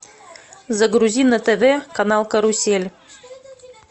загрузи на тв канал карусель